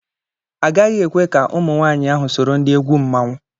Agaghị ekwe ka ụmụ nwaanyị ahụ soro ndị egwu mmanwụ.